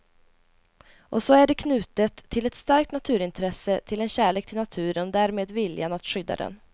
Och så är det knutet till ett starkt naturintresse, till en kärlek till naturen och därmed viljan att skydda den.